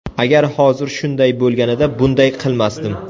Agar hozir shunday bo‘lganida bunday qilmasdim.